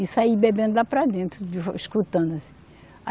E saí bebendo lá para dentro, escutando assim.